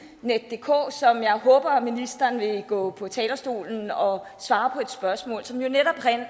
og jeg håber at ministeren vil gå på talerstolen og svare på et spørgsmål som jo netop